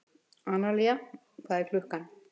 Analía, hvað er klukkan?